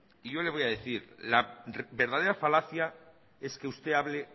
y yo le voy a decir la verdadera falacia es que usted hable